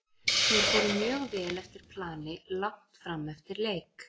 Þeir fóru mjög vel eftir plani langt fram eftir leik.